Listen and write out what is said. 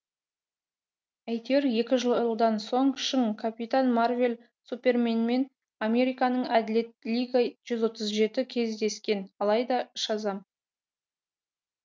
әйтеуір екі жылдан соң шың капитан марвел суперменмен американың әділет лига жүз отыз жеті кездескен алайда шазам